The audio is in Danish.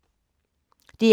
DR1